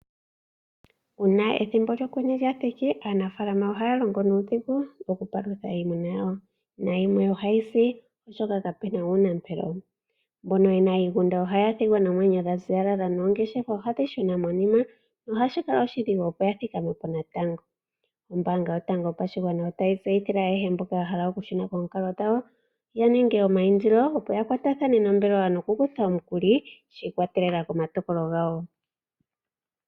Uuna ethimbo lyokwenye lyathiki aanafalama ohaya longo nuudhigu okupalutha iimuna yawo. Yimwe ohayi si oshoka kapena uunapelo, mbono yena iigunda ohaya thigwa noomwenyo dhaziyalala noongeshefa ohadhi shuna monima ohashi kala oshidhigu, opo ya thikame po natango. Ombaanga yotango yopashigwana otayi tseyithile ayehe mboka ya hala okushuna koonkalo dhawo ya ninge omayindilo, opo ya kwarathane nombelewa yakuthe omikuli shiikwatelela komatokolo gawo.